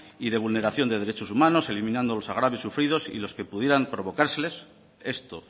y de vulneración de derechos humanos eliminando los agravios sufridos y los que pudieran provocárseles esto